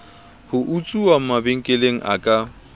ho utsuwa mabenkeleng a ka